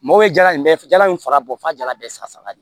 Mɔgɔ ye jala in bɛɛ fɛ jala in fara bɔ fɔ jala bɛɛ saga saba de